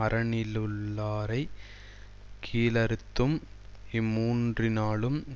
அரணிலுள்ளாரைக் கீழறுத்தும் இம்மூன்றினாலும்